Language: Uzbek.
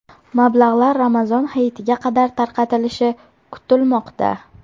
Mablag‘lar Ramazon Hayitiga qadar tarqatilishi kutilmoqda.